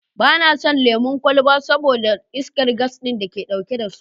Ba na son lemon kwalba saboda iskar gas ɗin da ke ɗauke da su.